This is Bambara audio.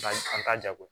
an ka jako